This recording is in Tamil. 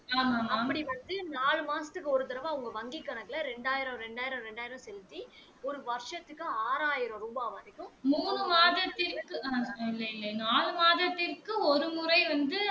அப்படி வந்து நால்லு மாசத்துக்கு ஒரு தடவை அவங்க வாங்கி கணக்குல இரண்டாயிரம் இரண்டாயிரம் இரண்டாயிரம் செலுத்தி ஒரு வருசத்துக்கு ஆறாயிரம் ரூபாய் வரைக்கும்